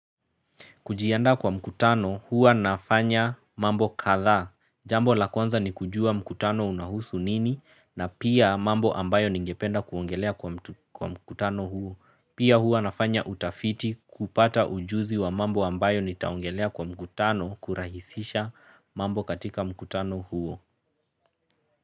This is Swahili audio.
Kujiandaa kwa mkutano huwa nafanya mambo kadhaa. Jambo la kwnza ni kujua mkutano unahusu nini na pia mambo ambayo ningependa kuongelea kwa mkutano huo. Pia huwa nafanya utafiti kupata ujuzi wa mambo ambayo nitaongelea kwa mkutano kurahisisha mambo katika mkutano huo.